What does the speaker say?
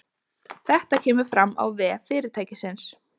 Þetta kemur fram á vef fyrirtækisins